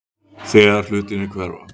Þegar hlutirnir hverfa